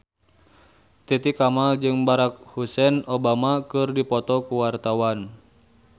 Titi Kamal jeung Barack Hussein Obama keur dipoto ku wartawan